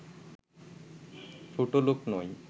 ছোটলোক নয়